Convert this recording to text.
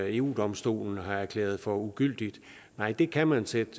eu domstolen har erklæret for ugyldigt nej det kan man sætte